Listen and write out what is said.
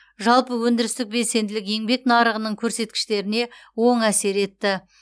жалпы өндірістік белсенділік еңбек нарығының көрсеткіштеріне оң әсер етті